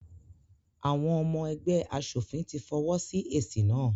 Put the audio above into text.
Àwọn ọmọ ẹgbẹ́ aṣòfin ti fọwọ́ sí èsì náà.